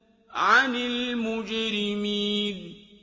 عَنِ الْمُجْرِمِينَ